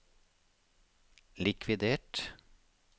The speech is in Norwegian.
likvidert